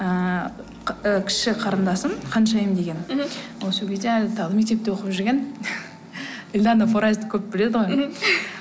ыыы і кіші қарындасым ханшайым деген мхм ол сол кезде әлі мектепте оқып жүрген эльдана форайзды көп біледі ғой мхм